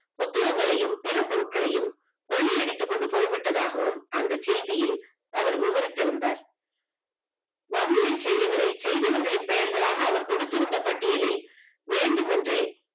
போட்டியின் வளையும் பிற பொருள்களையும் கொள்ளையடித்து கொண்டு போய்விட்டதாகவும் அந்த செய்தியில் அவர் விவரித்திருந்தார். வன்முறை செயல்களை செய்திகர்களின் பெயர்களாக அவர் கொடுத்திருந்த பட்டியலில் வேண்டுமென்ற